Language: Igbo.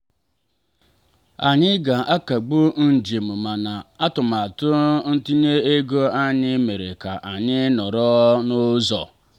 anyị ga-akagbu njem mana atụmatụ ntinye ego anyị mere ka anyị nọrọ n'ụzọ.